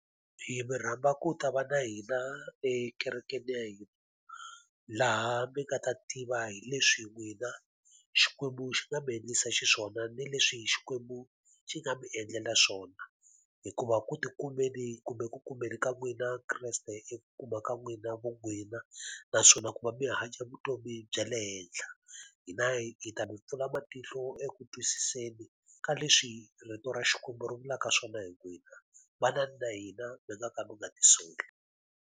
Hi mi rhamba ku ta va na hina ekerekeni ya hina. Laha mi nga ta tiva hi leswi n'wina Xikwembu xi nga mi endlisa xiswona ni leswi Xikwembu xi nga mi endlela swona. Hikuva ku tikumeni kumbe ku kumeni ka n'wina Kreste i kuma ka n'wina vo n'wina, naswona ku va mi hanya vutomi bya le henhla. Hina hi hi ta mi pfuna matihlo eku twisiseni ka leswi rito ra Xikwembu ri vulaka swona hi n'wina. Vanani na hina, mi nga ka mi nga ti soli.